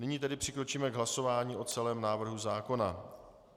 Nyní tedy přikročíme k hlasování o celém návrhu zákona.